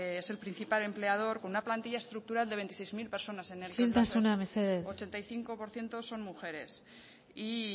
es el principal empleador con una plantilla estructural de veintiséis mil personas isiltasuna mesedez ochenta y cinco por ciento son mujeres y